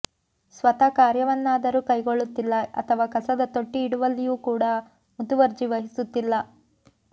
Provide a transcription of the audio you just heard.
ಸ್ವತಾ ಕಾರ್ಯವನ್ನಾದರೂ ಕೈಗೊಳ್ಳುತ್ತಿಲ್ಲ ಅಥವಾ ಕಸದ ತೊಟ್ಟಿ ಇಡುವಲ್ಲಿಯೂ ಕೂಡಾ ಮುತುವರ್ಜಿ ವಹಿಸುತ್ತಿಲ್ಲ